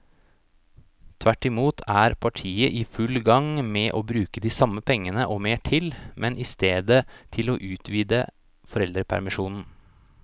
Tvert imot er partiet i full gang med å bruke de samme pengene og mer til, men i stedet til å utvide foreldrepermisjonen.